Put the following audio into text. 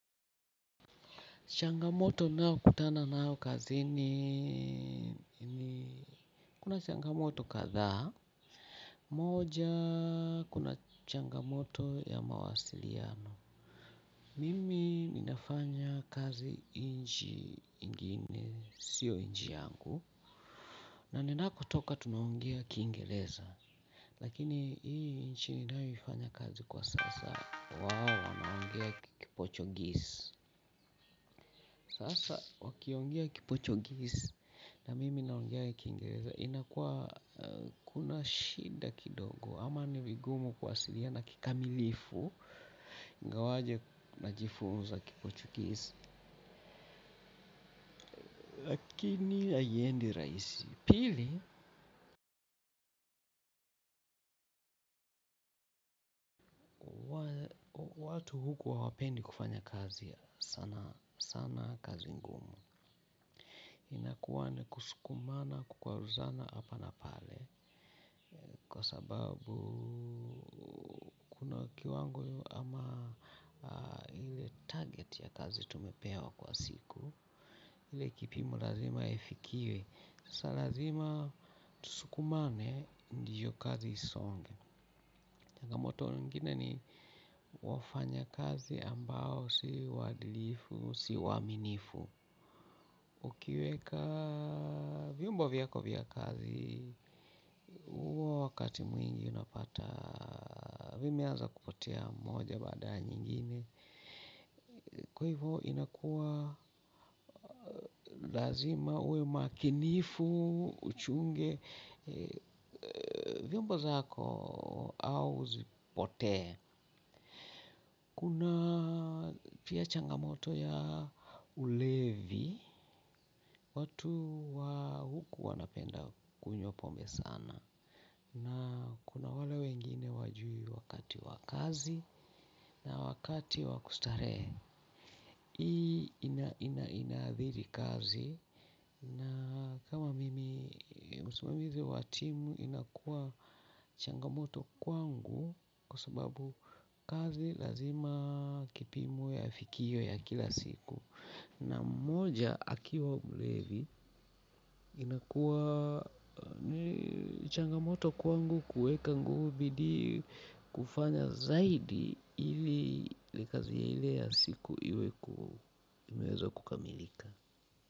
Changamoto nao kutana nayo kazini kuna changamoto kadhaa. Moja kuna changamoto ya mawasiliano. Mimi ninafanya kazi inchi ingine, sio inchi yangu. Na ninakotoka tunaongea kiingereza. Lakini hii nchini ninayoifanya kazi kwa sasa wao wanaongea ki Portuguese. Sasa wakiongea ki Portuguese na mimi naongea kiingereza inakuwa kuna shida kidogo ama ni vigumu kuwasiliana kikamilifu ingawaje najifunza kiportuguese. Lakini haiendi rahisi pili watu huku hawapendi kufanya kazi sana sana kazi ngumu inakuwa ni kusukumana kukwaruzana hapa na pale. Kwa sababu kuna kiwango ama ile target ya kazi tumepewa kwa siku ile kipimo lazima ifikiwe sasa lazima tusukumane ndio kazi isonge changamoto nyingine ni wafanya kazi ambao si waadilifu, si waaminifu. Ukiweka vyombo vyako vya kazi, huwa wakati mwingi unapata, vimeanza kupotea moja baada yanyingine, kwa hivyo inakuwa lazima uwqe makinifu, uchunge, vyombo zako au zipotee, kuna pia changamoto ya ulevi, watu wa huku wanapenda kunywa pombe sana. Na kuna wale wengine wajui wakati wa kazi na wakati wa kustarehe. Hii ina inaadhiri kazi na kama mimi msimamizi wa timu inakuwa changamoto kwangu kwa sababu kazi lazima kipimo yafikiwe ya kila siku. Na mmoja akiwa mlevi inakuwa changamoto kwangu kuweka nguvu bidii kufanya zaidi ili likazielea siku iwe inaweza kukamilika.